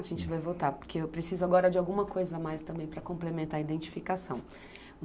A gente vai voltar, porque eu preciso agora de alguma coisa a mais também para complementar a identificação.